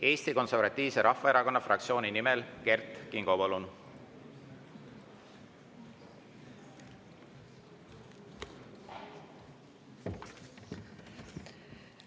Eesti Konservatiivse Rahvaerakonna fraktsiooni nimel Kert Kingo, palun!